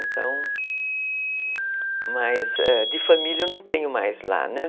Então, mas de família eu não tenho mais lá, né?